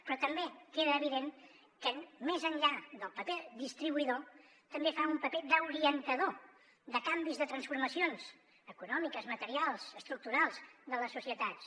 però també queda evident que més enllà del paper de distribuïdor també fa un paper d’orientador de canvis de transformacions econòmiques materials estructurals de les societats